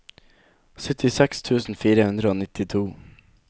syttiseks tusen fire hundre og nittito